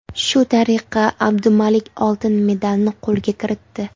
Shu tariqa Abdumalik oltin medalni qo‘lga kiritdi.